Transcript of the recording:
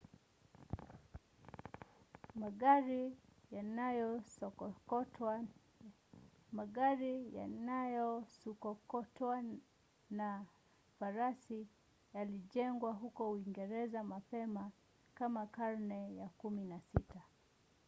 magari yanayosukokotwana farasi yalijengwa huko uingereza mapema kama karne ya 16